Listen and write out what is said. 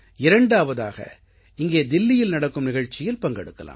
இரண்டாவதாக இங்கே தில்லியில் நடக்கும் நிகழ்ச்சியில் பங்கெடுக்கலாம்